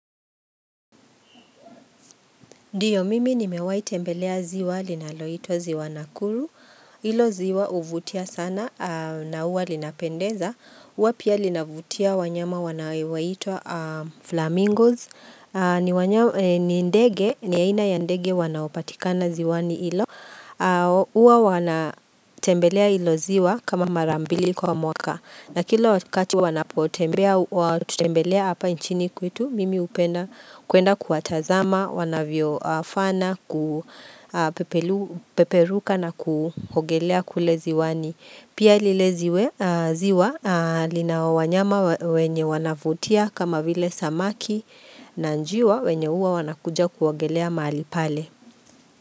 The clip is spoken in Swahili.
Ndiyo mimi nimewahi tembelea ziwa linaloitwa ziwa Nakuru, ilo ziwa huvutia sana na uwa linapendeza, uwa pia linavutia wanyama wanao itwa flamingos, ni ndege, ni aina ya ndege wanaopatikana ziwani ilo, uwa wana tembelea ilo ziwa kama marambili kwa mwaka. Na kila kati wanapotembelea hapa nchini kwetu mimi upenda kuenda kuatazama, wanavyo afana, kupeperuka na kuogelea kule ziwani. Pia lile ziwe ziwa lina wanyama wenye wanavutia kama vile samaki na njiwa wenye uwa wanakuja kuogelea mahalipale.